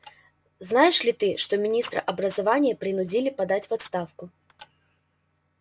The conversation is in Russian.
знаешь ли ты что министра образования принудили подать в отставку